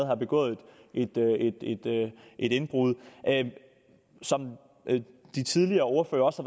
har begået et indbrud som de tidligere ordførere også